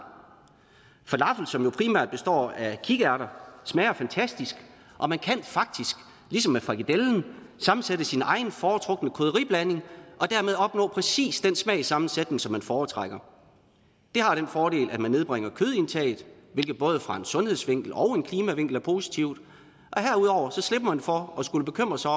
falafel som jo primært består af kikærter smager fantastisk og man kan faktisk ligesom med frikadellen sammensætte sin egen foretrukne krydderiblanding og dermed opnå præcis den smagssammensætning som man foretrækker det har den fordel at man nedbringer kødindtaget hvilket både fra en sundhedsvinkel og en klimavinkel er positivt og herudover slipper man for at skulle bekymre sig